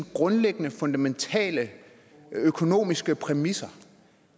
grundlæggende fundamentale økonomiske præmisser